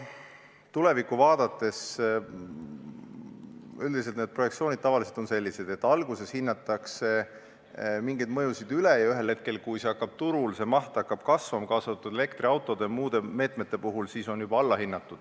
Tulevikku vaadates on üldiselt need projektsioonid tavaliselt sellised, et alguses hinnatakse mingeid mõjusid üle ja ühel hetkel, kui turul hakkab see maht kasvama, kaasa arvatud elektriautode ja muude meetmete puhul, siis on see juba alla hinnatud.